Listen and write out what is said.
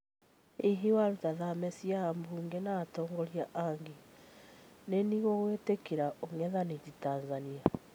Hihi waruta thame cia abuge na atongoria angi, nini gigũitikira ung'ethaniri Tanzania?